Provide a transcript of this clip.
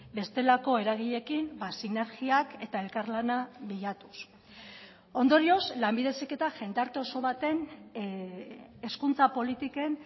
bestelako eragileekin sinergiak eta elkarlana bilatuz ondorioz lanbide heziketa jendarte oso baten hezkuntza politiken